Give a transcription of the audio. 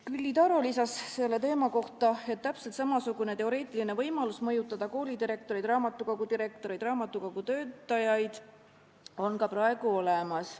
Külli Taro lisas selle teema kohta, et täpselt samasugune teoreetiline võimalus mõjutada koolidirektoreid, raamatukogudirektoreid, raamatukogutöötajad on ka praegu olemas.